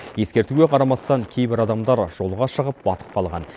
ескертуге қарамастан кейбір адамдар жолға шығып батып қалған